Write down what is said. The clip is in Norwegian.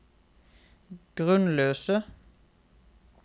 grunnløse